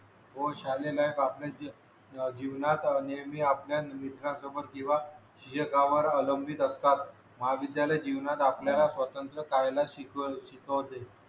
हो शाले लाईफ आपल्या जीवनात नेहमी आपल्या मित्रासोबत किंवा स्वतःवर अवलंबित असतात महाविद्यलय जीवनात आपल्याला स्वातंत्र पाहायला शिकवते